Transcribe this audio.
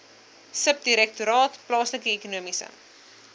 subdirektoraat plaaslike ekonomiese